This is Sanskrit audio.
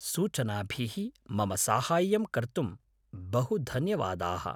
सूचनाभिः मम साहाय्यं कर्तुं बहुधन्यवादाः।